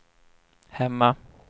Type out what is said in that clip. hemma